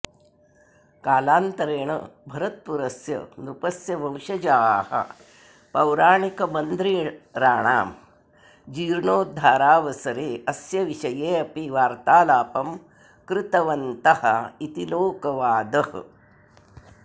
कालन्तरेण भरतपुरस्य नृपस्य वंशजाः पौराणिकमन्द्रिराणां जीर्णोद्धारावसरे अस्य विषये अपि वार्तालापं कृतवन्तः इति लोकवादः